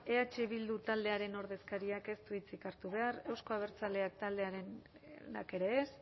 eh bildu taldearen ordezkariak ez du hitzik hartu behar euzko abertzaleak taldearenak ere ez